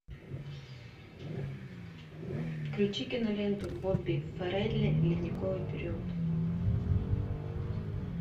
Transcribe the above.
включи киноленту бобби фаррелли ледниковый период